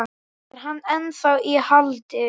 Er hann ennþá í haldi?